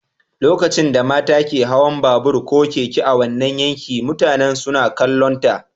Lokacin da mata ke hawan babur ko keke a wannan yanki, mutane suna kallonta.